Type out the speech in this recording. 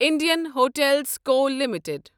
Indian hotels co limited